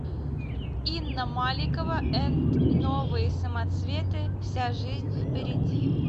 инна маликова энд новые самоцветы вся жизнь впереди